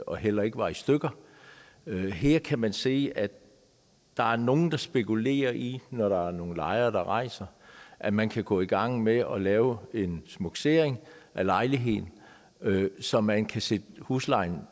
og heller ikke var i stykker her kan man se at der er nogle der spekulerer i når der er nogle lejere der rejser at man kan gå i gang med at lave en smukkesering af lejligheden så man kan sætte huslejen